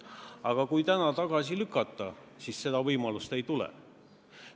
Aga kui eelnõu täna tagasi lükata, siis seda võimalust ei tule.